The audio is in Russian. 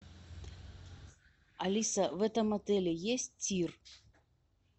алиса в этом отеле есть тир